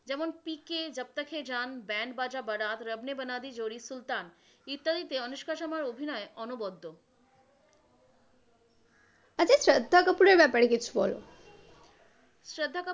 যেমন পি কে, জব তাক হ্যা জান, ব্যান্ড বাজা বারাত, রব নে বানাদি জোড়ি, সুলতান ইত্যাদিতে অনুষ্কা শর্মার অভিনয় অনবদ্য। আচ্ছা শ্রদ্ধা কাপূরের ব্যপারে কিছু বল, শ্রদ্ধা কাপূর,